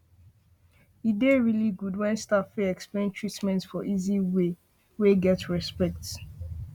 e dey really good when staff fit explain treatment for easy way wey get respect